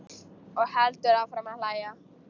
Og heldur áfram að hlæja.